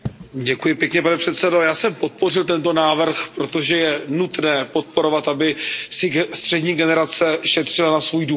Pane předsedající, já jsem podpořil tento návrh, protože je nutné podporovat, aby si střední generace šetřila na svůj důchod.